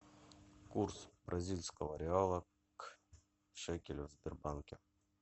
курс бразильского реала к шекелю в сбербанке